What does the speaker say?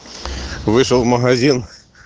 вышел в магазин